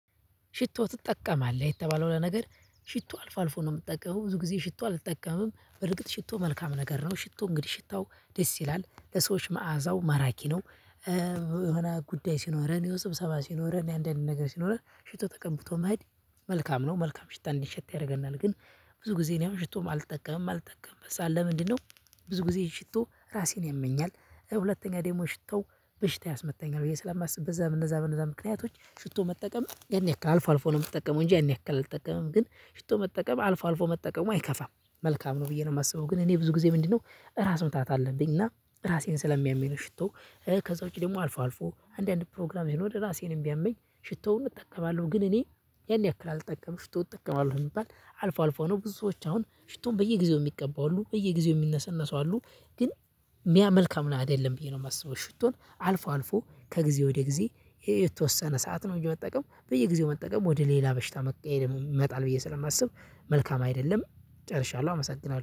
ሽቶ ትጠቀማለህ የተባለው ነገር ሽቶ አልፎ አልፎ ነው የምጠቀመው ብዙ ጊዜ ሽቶ አልጠቀምም በርግጥ ሽቶ መልካም ነገር ነው ሽቶ እንግዲህ ሽታው ደስ ይላል ለሰዎች መዓዛው ማራኪ ነው። የሆነ ጉዳይ ሲኖረን ስብሰባ ሲኖረን አንዳንድ ነገር ሲኖረን ሽቶ ተቀብቶ መሄድ መልካም ነው። መልካም ሽታ እንዲሸት ያደርገናል ግን ብዙ ጊዜ እኔ አሁን ሽቶም አልጠቀምም ማልጠቀምበት ሰዓት ለምንድነው? ብዙ ጊዜ ሽቶ ራሴን ያመኛል። ሁለተኛ ደግሞ ሽታው በሽታ ያስመታኛል ብዬ ስለማስብ በእነዛ በእነዛ በእነዛ ምክንያቶች ሽቶ መጠቀም ያን ያክል አልፎ አልፎ ነው የምጠቀመው። እንጂ ያን ያክል አልጠቀመም ግን ሽቶ መጠቀም አልፎ አልፎ መጠቀሙ አይከፋም መልካም ነው ብዬ ነው የማስበው። ግን እኔ ብዙ ጊዜ ምንድነው ራስ ምታት አለብኝ። እና ራሴን ስለሚያመኝ ነው ሽቶ። ከዛ ውጪ ደግሞ አልፎ አልፎ አንዳንድ ፕሮግራም ሄዶ እራሴንም ቢያመኝ ሽቶውን እጠቀማለሁ። ግን እኔ ያን ያክል አልጠቀምም። ሽቶ እጠቀማለህ ቢባለ አልፎ አልፎ ነው ብዙዎች አሁን ሽቶን በየጊዜው የሚቀቡ አሉ በየጊዜው የሚነሰነሱ አሉ። ግን ያ መልካም ነው አደለም ብዬ ነው የማስበው። ሽቶን አልፎ አልፎ ከጊዜ ወደ ጊዜ የተወሰነ ሰዓት ነው እንጂ መጠቀም በየጊዜው መጠቀም ወደ ሌላ በሽታ መቀየር ይመጣል ብዬ ስለማስብ። መልካም አይደለም። ጨርሻለሁ አመሰግናለሁ